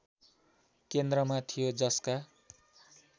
केन्द्रमा थियो जसका